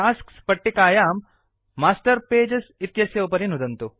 tasks पट्टिकायां master pages इत्येतस्य उपरि नुदन्तु